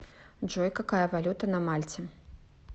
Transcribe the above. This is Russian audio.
джой какая валюта на мальте